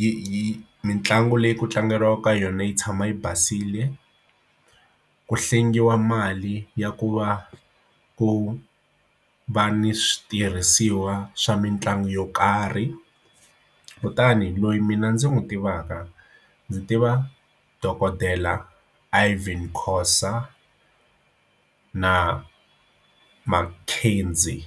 yi mitlangu leyi kutlangeriwaka yona yi tshama yi basile ku hlengeletiwa mali ya ku va ku va ni switirhisiwa swa mitlangu yo karhi kutani loyi mina ndzi n'wi tivaka ndzi tiva dokodela Ivan Khoza Na McKenzie.